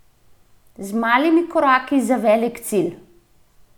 Z malimi koraki za velik cilj!